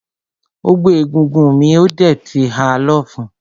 Ó gbé egúngún mì ó dẹ̀ ti ha lọ́fun.